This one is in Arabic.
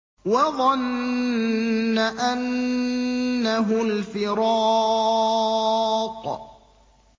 وَظَنَّ أَنَّهُ الْفِرَاقُ